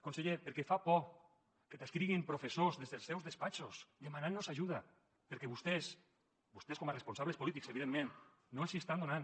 conseller perquè fa por que t’escriguin professors des dels seus despatxos per demanar nos ajuda perquè vostès vostès com a responsables polítics evidentment no els hi estan donant